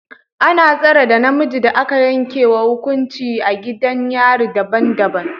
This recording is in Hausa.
Ana tsare da maza da aka yanke wa hukuncin a gidajen yari daban-daban